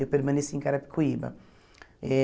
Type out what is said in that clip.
Eu permaneci em Carapicuíba eh.